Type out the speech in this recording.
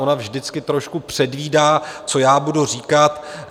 Ona vždycky trošku předvídá, co já budu říkat.